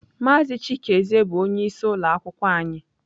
Mazị chikezie bụ onyeisi ụlọ akwụkwọ anyị.